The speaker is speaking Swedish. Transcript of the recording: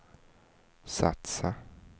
satsa